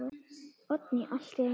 Oddný allt í einu.